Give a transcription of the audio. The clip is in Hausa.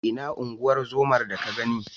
Ina unguwar zomar da ka gani?